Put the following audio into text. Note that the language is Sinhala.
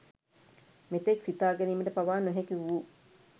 මෙතෙක් සිතාගැනීමට පවා නොහැකිවූ